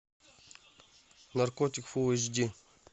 наркотик фул эйч ди